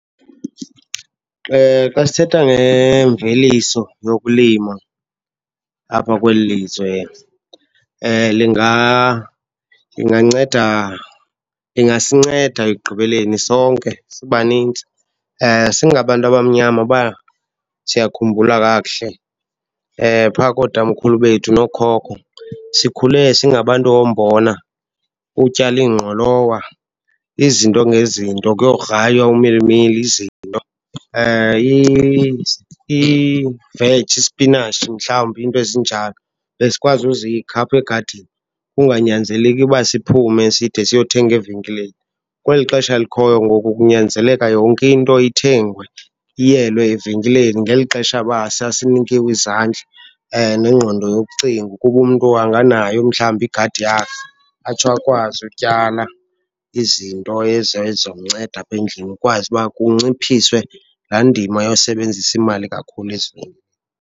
Xa sithetha ngemveliso yokulima apha kweli lizwe linganceda, ingasinceda ekugqibeleni sonke sibanintsi. Singabantu abamnyama uba siyakhumbula kakuhle, pha kootamkhulu bethu nookhoko, sikhule singabantu wombona, utyala iingqolowa, izinto ngezinto, kuyokugraywa umilimili, izinto. Iiveji, isipinatshi, mhlawumbi iinto ezinjalo besikwazi uzikha apha egadini, kunganyanzeleki iba siphume side siyothenge evenkileni. Kweli xesha likhoyo ngoku kunyanzeleka yonke into ithengwe, iyelwe evenkileni ngeli xesha uba sasinikiwe izandla nengqondo yokucinga ukuba umntu anganayo mhlawumbi igadi yakhe atsho akwazi ukutyala izinto ezo ezizomnceda apha endlini kukwazi uba kunciphiswe laa ndima yosebenzisa imali kakhulu .